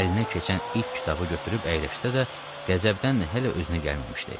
Əlinə keçən ilk kitabı götürüb əyləşsə də, qəzəbdən hələ özünə gəlməmişdi.